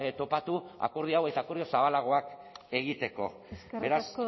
topatu akordio hau eta akordio zabalagoak egiteko beraz